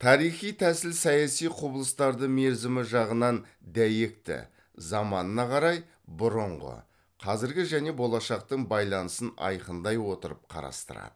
тарихи тәсіл саяси құбылыстарды мерзімі жағынан дәйекті заманына қарай бұрынғы қазіргі және болашақтың байланысын айқындай отырып қарастырады